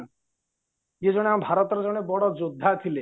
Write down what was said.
ଇଏ ଜଣେ ଆମ ଭାରତର ବଡ ଯୋଦ୍ଧା ଥିଲେ